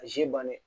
A ji bannen